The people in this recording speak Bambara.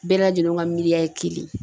Bɛɛ lajɛlen ka miliya kelen ye.